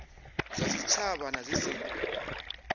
zwa tshitshavha na zwi si